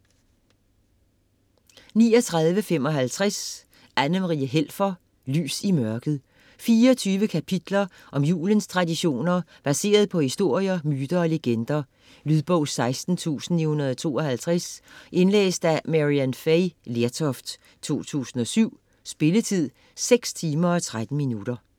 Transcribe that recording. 39.55 Helfer, Anna-Marie: Lys i mørket 24 kapitler om julens traditioner, baseret på historier, myter og legender. Lydbog 16952 Indlæst af Maryann Fay Lertoft, 2007. Spilletid: 6 timer, 13 minutter.